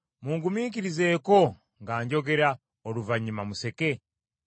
Mungumiikirizeeko nga njogera, oluvannyuma museke.